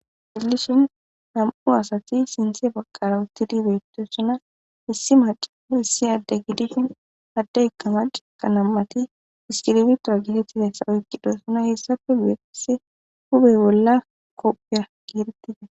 helishin nam7u asati sinthe baqqara uttidibeitesuna issi maacio issi adde gidishin hadda kama ciqa nammati iskiribitora gitettidayssa oykqidossuna hessafe guyese hubey bolla kophiya gierettida